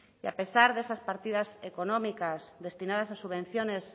y a pesar de esas partidas económicas destinadas a subvenciones